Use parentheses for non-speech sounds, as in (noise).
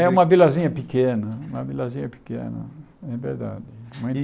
É uma vilazinha pequena, uma vilazinha pequena, é verdade. (unintelligible)